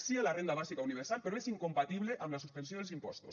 sí a la renda bàsica universal però és incompatible amb la suspensió dels impostos